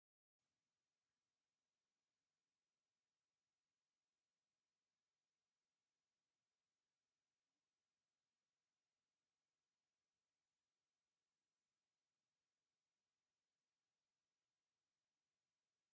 ኣብ ትሕቲ ደመና ዝኸበዶ ሰማይ ለምለም ናይ ደጉዓ ገፀ ምድሪ ይርአ ኣሎ፡፡ እቶም ዝለምዑ ገርሁታት ዘለዎም ልምላመ ፍሉይ እዩ፡፡ እዚ ኩነታት ዝርአየሉ ወቕቲ መዓዝ እዩ?